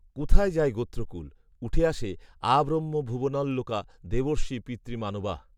কোথায় যায় গোত্রকূল, উঠে আসে, আব্রহ্মভুবনাল্লোকা দেবর্ষি পিতৃমানবাঃ